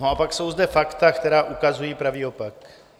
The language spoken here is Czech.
No a pak jsou zde fakta, která ukazují pravý opak.